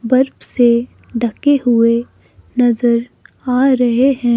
बर्फ से ढके हुए नजर आ रहे हैं।